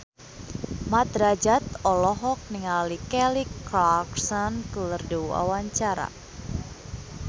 Mat Drajat olohok ningali Kelly Clarkson keur diwawancara